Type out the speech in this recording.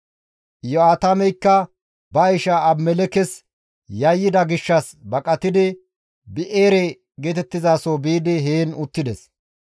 Iyo7aatameykka ba isha Abimelekkes yayyida gishshas baqatidi Bi7eere geetettizaso biidi heen uttides.